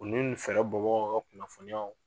o ni nin bɔbagaw ka kunnafoniyaw.